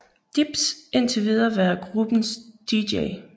Dibbs indtil videre været gruppens dj